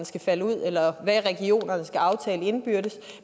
skal falde ud eller hvad regionerne skal aftale indbyrdes